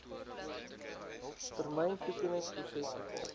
termyn toekenningsproses bepaal